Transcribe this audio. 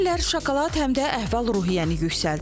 Deyirlər şokolad həm də əhval-ruhiyyəni yüksəldir.